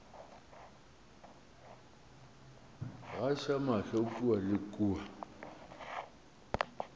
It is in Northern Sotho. gaša mahlo kua le kua